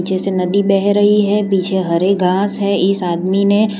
पीछे नदी बह रही है। पीछे हरी घास है। इस आदमी ने।